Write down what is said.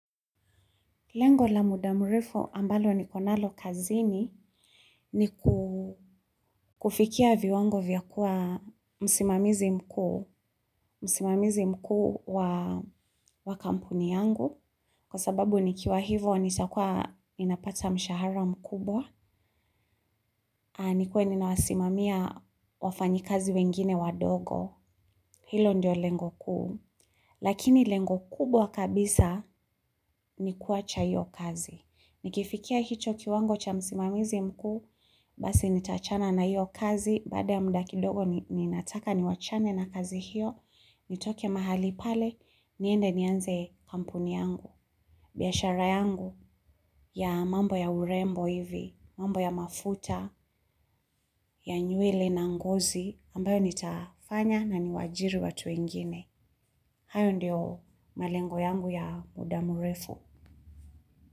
Lengo la muda murefo ambalo ni konalo kazini ni kufikia viwango vya kuwa msimamizi mkuu wa kampuni yangu. Kwa sababu ni kiwa hivo ni takua ninapata mshahara mkubwa. Nikuwe ni na wasimamia wafanyi kazi wengine wadogo. Hilo ndio lengo kuu. Lakini lengo kubwa kabisa ni kuwacha iyo kazi. Ni kifikia hicho kiwango cha msimamizi mkuu, basi nitachana na hiyo kazi, bada ya mda ki dogo ninataka ni wachane na kazi hiyo, nitoke mahali pale, niende nianze kampuni yangu. Biashara yangu ya mambo ya urembo hivi, mambo ya mafuta, ya nyuele na ngozi, ambayo nitafanya na ni wajiri watu ingine. Hayo ndio malengo yangu ya mudamurefu.